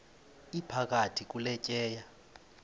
iphakathi kule tyeya